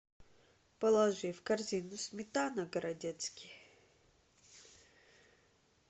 положи в корзину сметана городецкий